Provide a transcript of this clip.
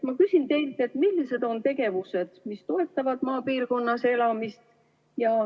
Ma küsin teilt, millised on tegevused, mis toetavad maapiirkonnas elamist.